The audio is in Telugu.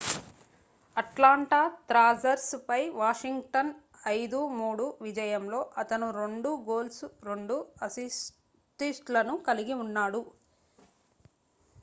అట్లాంటా థ్రాసర్స్ పై వాషింగ్టన్ 5-3 విజయంలో అతను 2 గోల్స్ 2 అసిస్ట్ లను కలిగి ఉన్నాడు